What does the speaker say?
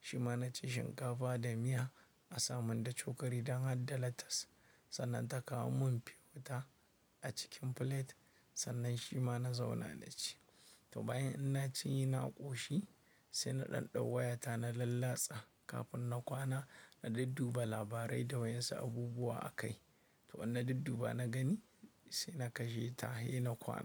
shi ma na ci shinkafa da miya a sa man da cokali don hadda latas. Sannan ta kawo mun fiwata a cikin filet sannan shi ma na zauna na ci. To bayan inna cinye na ƙoshi, sai na ɗan ɗau wayata na lallatsa kafin na kwana. Na dudduba labarai da wa insu abubuwa a kai. To in na dudduba na gani sai na kashe ta he na kwana.